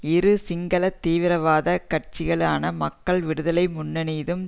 இரு சிங்கள தீவிரவாத கட்சிகளான மக்கள் விடுதலை முன்னணியினதும்